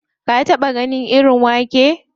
Ka taɓa ganin irin wake?